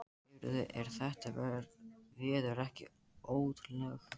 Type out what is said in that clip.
Heyrðu, er þetta veður ekki ótrúlegt?